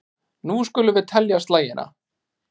Nú skulum við telja slagina.